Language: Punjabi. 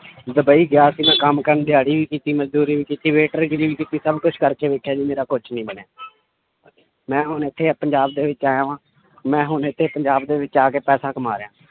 ਡੁਬਈ ਗਿਆ ਸੀ ਮੈਂ ਕੰਮ ਕਰਨ ਦਿਹਾੜੀ ਵੀ ਕੀਤੀ ਮਜ਼ਦੂਰੀ ਵੀ ਕੀਤੀ ਵੇਟਰਗਿਰੀ ਵੀ ਕੀਤੀ ਸਭ ਕੁਛ ਕਰਕੇ ਵੇਖਿਆ ਜੀ ਮੇਰਾ ਕੁਛ ਨੀ ਬਣਿਆ ਮੈਂ ਹੁਣ ਇੱਥੇ ਪੰਜਾਬ ਦੇ ਵਿੱਚ ਆਇਆ ਵਾਂ, ਮੈਂ ਹੁਣ ਇੱਥੇ ਪੰਜਾਬ ਦੇ ਵਿੱਚ ਆ ਕੇ ਪੈਸਾ ਕਮਾ ਰਿਹਾਂ।